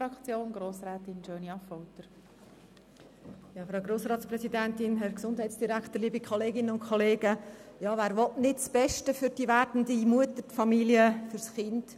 Ja, wer will nicht das Beste für die werdende Mutter, für die Familie und für das Kind?